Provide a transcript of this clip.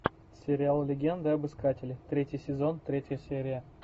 сериал легенда об искателе третий сезон третья серия